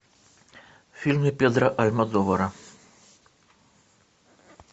фильмы педро альмодовара